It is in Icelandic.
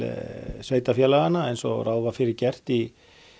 sveitarfélaganna eins og ráð var fyrir gert í